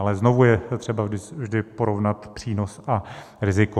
Ale znovu je třeba vždy porovnat přínos a riziko.